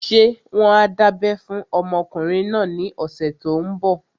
Ṣé wọ́n á dábẹ́ fún ọmọkùnrin náà ní ọ̀sẹ̀ tó n bọ̀?